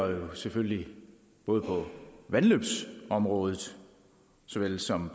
selvfølgelig både på vandløbsområdet såvel som